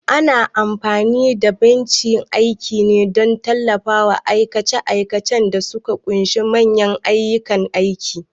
Ana amfani da bencin aiki ne don tallafawa aikace-aikacen da suka ƙunshi manyan kayan aiki.